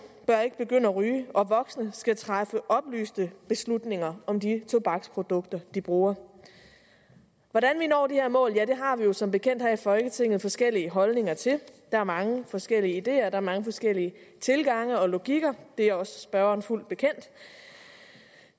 bør ikke begynde at ryge og voksne skal træffe oplyste beslutninger om de tobaksprodukter de bruger hvordan vi når de her mål har vi jo som bekendt her i folketinget forskellige holdninger til der er mange forskellige ideer der er mange forskellige tilgange og logikker det er også spørgeren fuldt bekendt